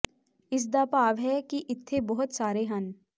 ਇਸ ਦਾ ਭਾਵ ਹੈ ਕਿ ਇੱਥੇ ਬਹੁਤ ਸਾਰੇ ਹਨ